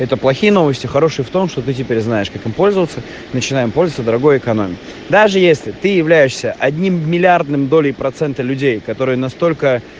это плохие новости хорошие в том что ты теперь знаешь как им пользоваться начинаем пользоваться дорогой экономикой даже если ты являешься одним миллиардным долей процент людей которые настолько